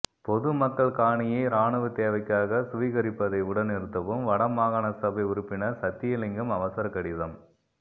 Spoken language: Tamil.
பொதுமக்கள்காணியை இராணுவத்தேவைக்காக சுவீகரிப்பதை உடன்நிறுத்தவும் வடமாகாணசபை உறுப்பினர் சத்தியலிங்கம் அவசரக்கடிதம்